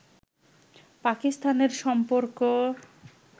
পাকিস্তানের সম্পর্ক